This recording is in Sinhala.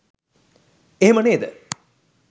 එහෙම නේද